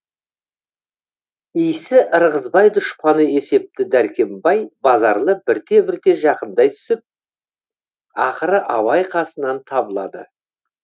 исі ырғызбай дұшпаны есепті дәркембай базарлы бірте бірте жақындай түсіп ақыры абай қасынан табылады